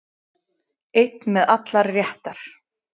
Einn með allar réttar